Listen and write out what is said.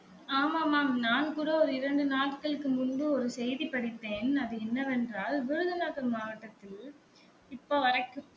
ஆமா ஆமா நான் கூட ஒரு இரண்டு நாட்களுக்கு முன்பு ஒரு செய்தி படித்தேன் அது என்ன வென்றால் விருதுநகர் மாவட்டத்தில் இப்ப வரைக்கும்